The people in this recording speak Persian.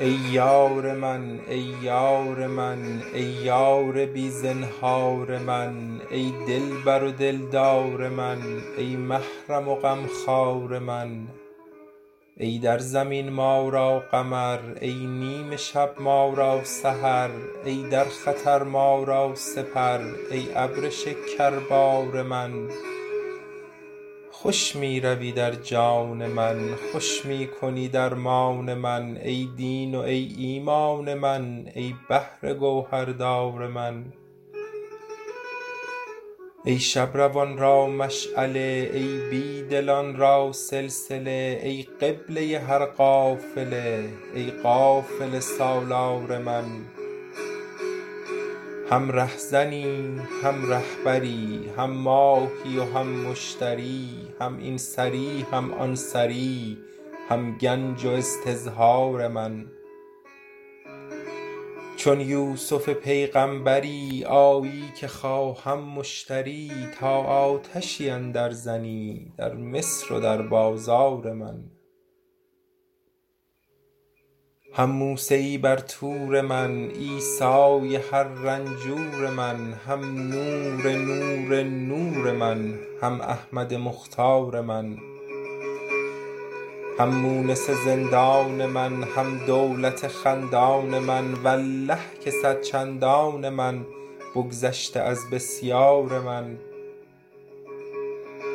ای یار من ای یار من ای یار بی زنهار من ای دلبر و دلدار من ای محرم و غمخوار من ای در زمین ما را قمر ای نیم شب ما را سحر ای در خطر ما را سپر ای ابر شکربار من خوش می روی در جان من خوش می کنی درمان من ای دین و ای ایمان من ای بحر گوهردار من ای شب روان را مشعله ای بی دلان را سلسله ای قبله هر قافله ای قافله سالار من هم ره زنی هم ره بری هم ماهی و هم مشتری هم این سری هم آن سری هم گنج و استظهار من چون یوسف پیغامبری آیی که خواهم مشتری تا آتشی اندر زنی در مصر و در بازار من هم موسیی بر طور من عیسیء هر رنجور من هم نور نور نور من هم احمد مختار من هم مونس زندان من هم دولت خندان من والله که صد چندان من بگذشته از بسیار من